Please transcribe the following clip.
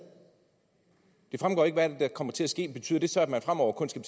det fremgår ikke hvad det er der kommer til at ske betyder det så at man fremover kun skal